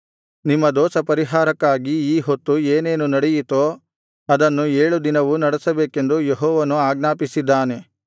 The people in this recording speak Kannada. ನಿಮ್ಮ ದೋಷಪರಿಹಾರಕ್ಕಾಗಿ ಈ ಹೊತ್ತು ಏನೇನು ನಡೆಯಿತೋ ಅದನ್ನು ಏಳು ದಿನವೂ ನಡೆಸಬೇಕೆಂದು ಯೆಹೋವನು ಆಜ್ಞಾಪಿಸಿದ್ದಾನೆ